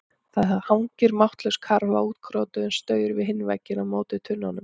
Það hangir máttlaus karfa á útkrotuðum staur við hinn vegginn á móti tunnunum.